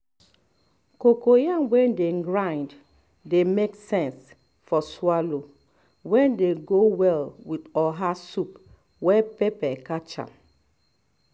cocoyam wey dem grind dey make sense for swallow wey dey go well with oha soup wey pepper catch